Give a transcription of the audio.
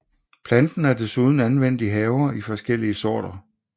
Planten er desuden anvendt i haver i flere forskellige sorter